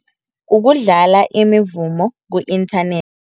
Ukudlala imivumo ku-inthanethi.